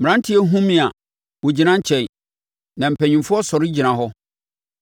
mmeranteɛ hunu me a, wɔgyina nkyɛn na mpanimfoɔ sɔre gyina hɔ;